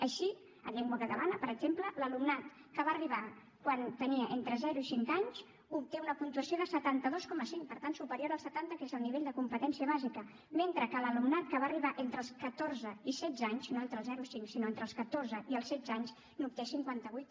així a llengua catalana per exemple l’alumnat que va arribar quan tenia entre zero i cinc anys obté una puntuació de setanta dos coma cinc per tant superior al setanta que és el nivell de competència bàsica mentre que l’alumnat que va arribar entre els catorze i els setze anys no entre els zero i els cinc sinó entre els catorze i els setze anys n’obté cinquanta vuit